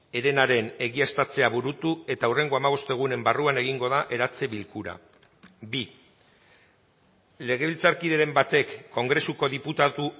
herenaren egiaztatzea burutu eta hurrengo hamabost egunen barruan egingo da eratze bilkura bi legebiltzarkideren batek kongresuko diputatu